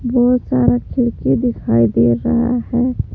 बहुत सारा खिड़की दिखाई दे रहा है।